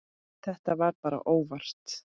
Þetta var bara óvart.